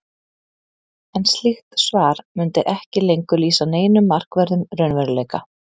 en slíkt svar mundi ekki lengur lýsa neinum markverðum raunveruleika